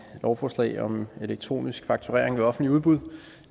lovforslag om elektronisk fakturering ved offentlige udbud